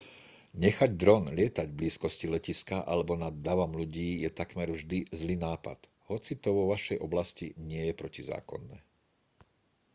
nechať dron lietať v blízkosti letiska alebo nad davom ľudí je takmer vždy zlý nápad hoci to vo vašej oblasti nie je protizákonné